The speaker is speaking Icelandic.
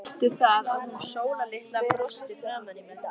Veistu það, að hún Sóla litla brosti framan í mig.